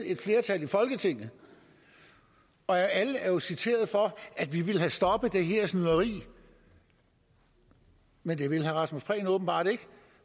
et flertal i folketinget alle er jo citeret for at vi vil have stoppet det her snyderi men det vil herre rasmus prehn åbenbart ikke